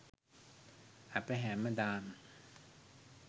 අප හැමදාම